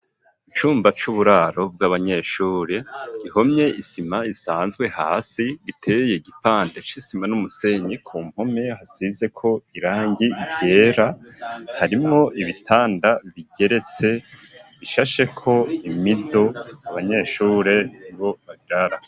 Icumba c'uburaro bw'abanyeshure gihomye isima isanzwe hasi giteye igipande c'isima n'umusenyi ku mpome hasize ko irangi ivyera harimo ibitanda bigeretse bishasheko imido abanyeshure ni bo babirara.